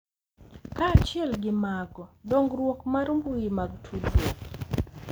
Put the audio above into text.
Kaachiel gi mago, dongruok mar mbui mag tudruok